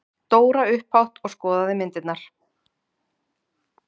Dóra upphátt og skoðaði myndirnar.